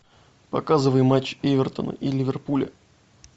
показывай матч эвертона и ливерпуля